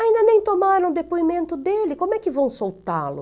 Ainda nem tomaram o depoimento dele, como é que vão soltá-lo?